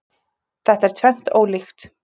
Þetta er tvennt ólíkt